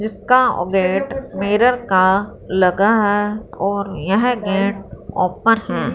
इसका अह gate mirror का लगा है और यह गेट ओपन है।